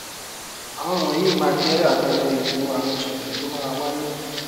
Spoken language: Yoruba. àwọn wọnyí máa jẹ àpẹẹrẹ ètò àwọn ìṣẹlẹ tó máa wáyé